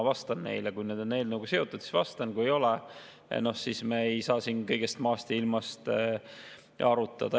Kui küsimused on eelnõuga seotud, siis vastan neile, kui ei ole, siis me ei saa siin kõigest maast ja ilmast rääkida.